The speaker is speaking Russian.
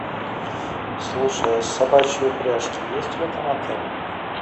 слушай а собачьи упряжки есть в этом отеле